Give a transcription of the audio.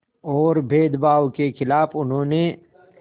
और भेदभाव के ख़िलाफ़ उन्होंने